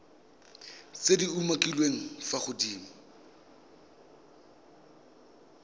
tse di umakiliweng fa godimo